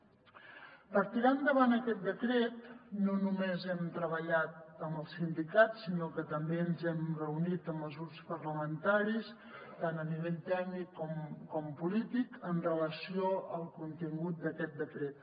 per tirar endavant aquest decret no només hem treballat amb els sindicats sinó que també ens hem reunit amb els grups parlamentaris tant a nivell tècnic com polític amb relació al contingut d’aquest decret